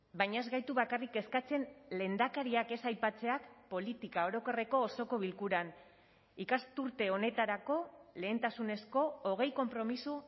baina ez gaitu bakarrik kezkatzen lehendakariak ez aipatzeak politika orokorreko osoko bilkuran ikasturte honetarako lehentasunezko hogei konpromiso